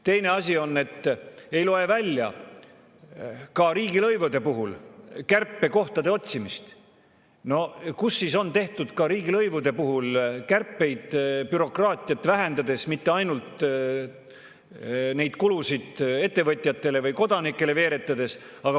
Teine asi on, et ei loe välja ka riigilõivude puhul kärpekohtade otsimist, kus oleks tehtud ka riigilõivude puhul kärpeid bürokraatiat vähendades, mitte ainult neid kulusid ettevõtjatele või kodanikele veeretades.